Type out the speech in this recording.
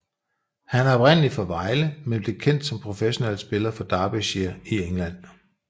Han er oprindelig fra Vejle men blev kendt som professionel spiller for Derbyshire i England